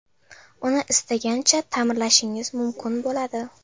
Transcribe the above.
Uni istagancha ta’mirlashingiz mumkin bo‘ladi.